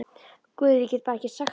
Guð, ég get bara ekki sagt það.